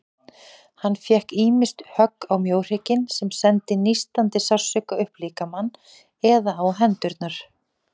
Hann fékk ýmist högg á mjóhrygginn, sem sendi nístandi sársauka upp líkamann, eða á hendurnar.